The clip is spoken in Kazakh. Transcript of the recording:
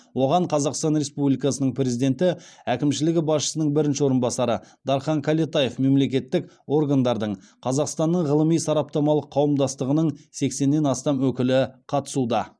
оған қазақстан республикасының президенті әкімшілігі басшысының бірінші орынбасары дархан кәлетаев мемлекеттік органдардың қазақстанның ғылыми сараптамалық қауымдастығының сексеннен астам өкілі қатысуда